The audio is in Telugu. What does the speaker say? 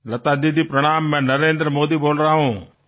లతాదీదీ నమస్కారం నేను నరేంద్ర మోదీ ని మాట్లాడుతున్నాను